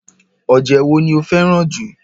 oje wo ni ó fẹ́ràn jù?